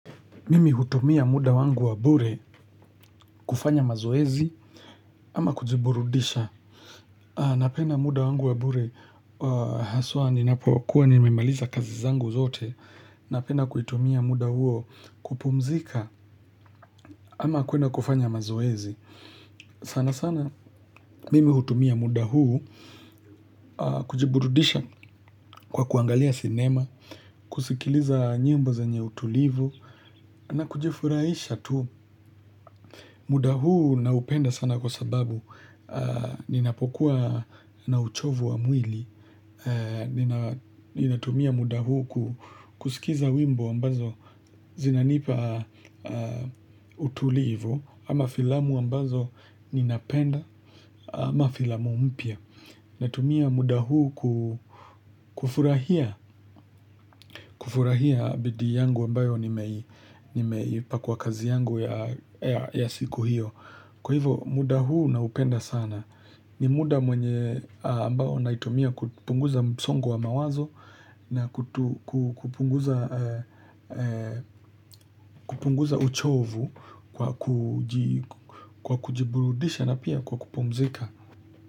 Mimi hutumia muda wangu wa bure kufanya mazoezi ama kujiburudisha. Napenda muda wangu wa bure haswa ni napokuwa nimemaliza kazi zangu zote. Napenda kuitumia muda huo kupumzika ama kwenda kufanya mazoezi sana sana mimi hutumia muda huu kujiburudisha kwa kuangalia sinema. Kusikiliza nyimbo zenye utulivu na kujifurahisha tu. Muda huu na upenda sana kwa sababu, ninapokuwa na uchovu wa mwili, ninatumia muda huu kusikiza wimbo ambazo zinanipa utulivu, ama filamu ambazo ninapenda, ama filamu mpya. Na tumia muda huu kufurahia bidii yangu ambayo nimeipa kwa kazi yangu ya siku hiyo. Kwa hivo muda huu na upenda sana. Ni muda mwenye ambao naitumia kupunguza msongo wa mawazo. Na kupunguza uchovu kwa kujiburudisha na pia kwa kupumzika.